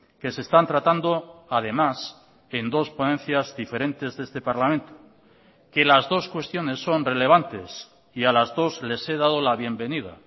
que se están tratando además en dos ponencias diferentes de este parlamento que las dos cuestiones son relevantes y a las dos les he dado la bienvenida